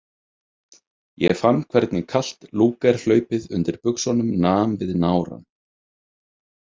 Ég fann hvernig kalt Lúger- hlaupið undir buxunum nam við nárann.